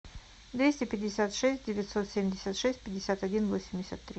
двести пятьдесят шесть девятьсот семьдесят шесть пятьдесят один восемьдесят три